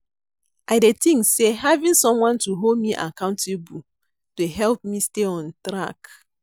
I dey think say having someone to hold me accountable dey help me stay on track.